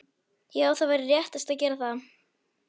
Já það væri réttast að gera það.